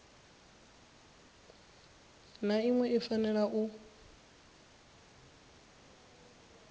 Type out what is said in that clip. na iṅwe i fanela u